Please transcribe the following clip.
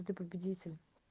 ты победитель